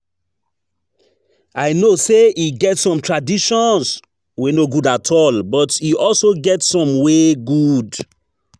I know say e get some traditions wey no good at all, but e also get some wey good